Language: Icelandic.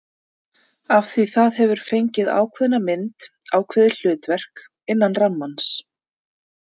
Af því það hefur fengið ákveðna mynd, ákveðið hlutverk, innan rammans.